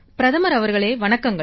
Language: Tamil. பிரதமர் அவர்களே வணக்கங்கள்